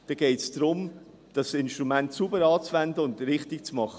Es geht darum, das Instrument sauber anzuwenden und es richtig zu machen.